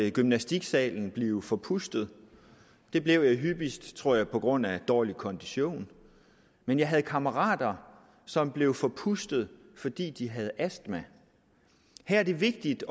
i gymnastiksalen blive forpustet det blev jeg hyppigst tror jeg på grund af dårlig kondition men jeg havde kammerater som blev forpustede fordi de havde astma her er det vigtigt